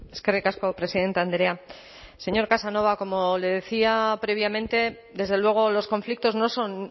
eskerrik asko presidente andrea señor casanova como le decía previamente desde luego los conflictos no son